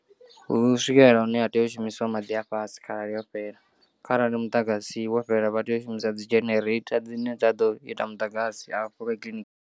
Hu swikelela hune ha tea u shumisiwa maḓi a fhasi kharali yo fhela kharali muḓagasi wo fhela vha tea u shumisa dzi jenereitha dzine dza ḓo ita muḓagasi afho kiḽiniki.